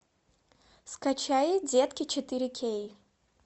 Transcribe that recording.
скачай детки четыре кей